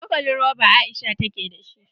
Cokalin roba Aisha take da shi.